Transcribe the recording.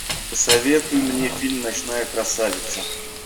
посоветуй мне фильм ночная красавица